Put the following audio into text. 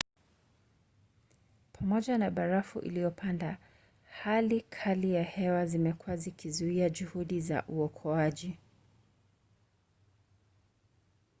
pamoja na barafu iliyoponda hali kali za hewa zimekuwa zikizuia juhudi za uokoaji